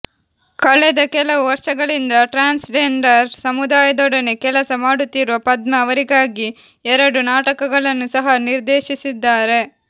ಕಳೆದ ಕೆಲವು ವರ್ಷಗಳಿಂದ ಟ್ರ್ಯಾನ್ಸ್ ಜೆಂಡರ್ ಸಮುದಾಯದೊಡನೆ ಕೆಲಸ ಮಾಡುತ್ತಿರುವ ಪದ್ಮ ಅವರಿಗಾಗಿ ಎರಡು ನಾಟಕಗಳನ್ನು ಸಹ ನಿರ್ದೇಶಿಸಿದ್ದಾರೆ